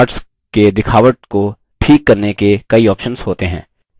charts के दिखावट को ठीक करने के कई ऑप्शन्स होते हैं